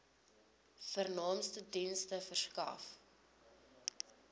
vernaamste dienste verskaf